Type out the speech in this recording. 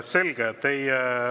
Selge.